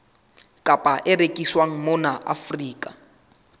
kapa e rekiswang mona afrika